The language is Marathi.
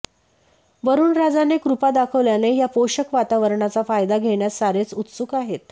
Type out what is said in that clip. वरूणराजाने कृपा दाखवल्याने या पोषक वातावरणाचा फायदा घेण्यास सारेच उत्सुक आहेत